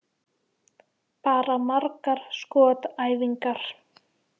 Bara margar skotæfingar.